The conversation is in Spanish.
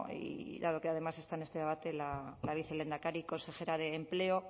y dado que además está en este debate la vicelehendakari consejera de empleo